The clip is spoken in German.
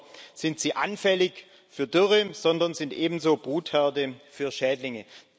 Nicht nur sind sie anfällig für Dürren, sondern sie sind ebenso Brutherde für Schädlinge.